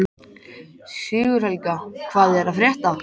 Sigurhelga, hvað er að frétta?